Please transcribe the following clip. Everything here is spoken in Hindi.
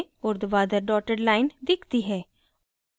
ऊर्ध्वाधर dotted line दिखती है